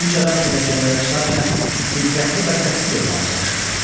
Üç adam pilləkənləri çıxarkən diqqətli və səssiz olmağa çalışırdılar.